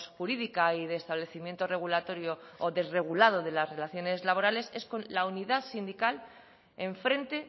jurídica y de establecimiento desregulado de las relaciones laborales es con la unidad sindical enfrente